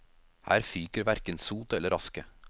Her fyker hverken sot eller aske.